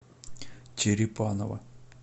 черепаново